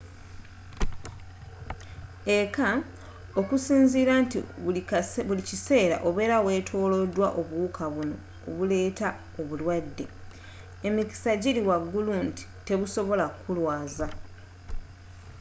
ekka okusinzira nti buli kiseera obera wetoloddwa obuwuka bunno obuleta obulwadde emikisa jili waggulu nti tebusobola kulwaza